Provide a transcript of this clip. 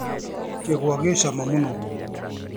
Kĩgwa gĩ ciama mũno.